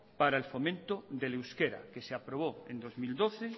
para el fomento del euskera que se aprobó en dos mil doce